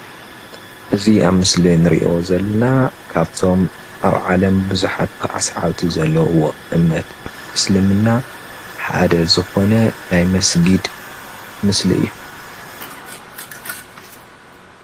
እዚ ኣብ ምስሊ እንሪኦ ዘለና ካብቶም ኣብ ዓለም ቡዙሓት ሰሓብቲ ዘለዉዎ እምነት እስልምና ሓደ ዝኾነ ናይ መስጊድም ምስሊ እዩ፡፡